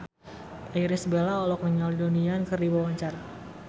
Irish Bella olohok ningali Donnie Yan keur diwawancara